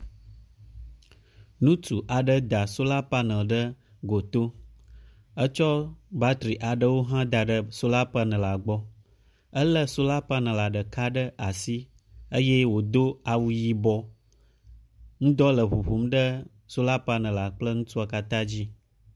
Ŋutsu aɖe da sola paneli ɖe goto. Etsɔ batri aɖewo hã da ɖe sola panelia gbɔ. Elé sola paneli ɖeka ɖe asi eye wòdo awu yibɔ. Ŋdɔ le ŋuŋum ɖe sola paneli kple ŋutsua katã dzi.